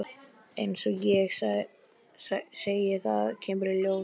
Eins og ég segi. það kemur í ljós.